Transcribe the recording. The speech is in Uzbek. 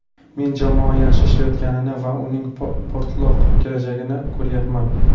Men jamoa yaxshi ishlayotganini va uning porloq kelajagini ko‘ryapman.